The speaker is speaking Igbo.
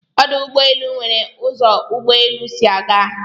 Ọdụ̀ Ụgbọelụ n̄were ụzo ụ́gbọélụ́ sị aga